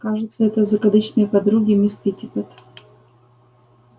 кажется это закадычные подруги мисс питтипэт